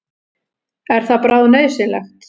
Er það bráðnauðsynlegt?